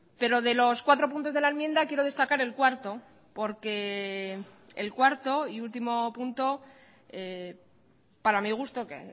pero de los cuatro puntos de la enmienda quiero destacar el cuarto porque el cuarto y último punto para mi gusto que